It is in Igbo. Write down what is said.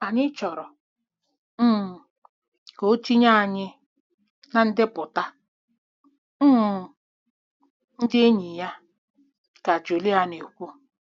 "Anyị chọrọ um ka o tinye anyị na ndepụta um ndị enyi ya,” ka Julia na-ekwu.